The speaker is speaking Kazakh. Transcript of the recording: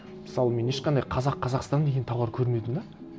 мысалы мен ешқандай қазақ қазақстан деген тауар көрмедім де